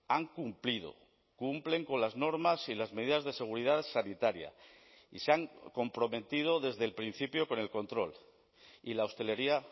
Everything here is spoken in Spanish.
han cumplido cumplen con las normas y las medidas de seguridad sanitaria y se han comprometido desde el principio con el control y la hostelería